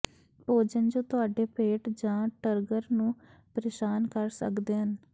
ਭੋਜਨ ਜੋ ਤੁਹਾਡੇ ਪੇਟ ਜਾਂ ਟਰਗਰ ਨੂੰ ਪਰੇਸ਼ਾਨ ਕਰ ਸਕਦੇ ਹਨ